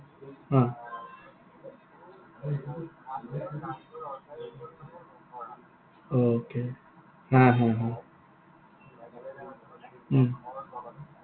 okay হা, হা, হা। উম